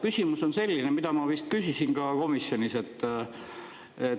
Küsimus on selline, mida ma vist küsisin ka komisjonis.